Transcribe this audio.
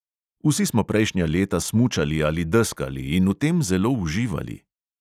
Vsi smo prejšnja leta smučali ali deskali in v tem zelo uživali.